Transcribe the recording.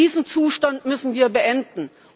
Diesen Zustand müssen wir beenden!